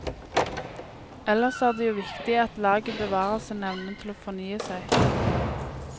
Ellers er det jo viktig at laget bevarer sin evne til å fornye seg.